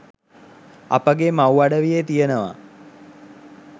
අපගේ මව් අඩවියේ තියනවා